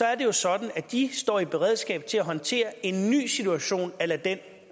er det jo sådan at de står i beredskab til at håndtere en ny situation a la den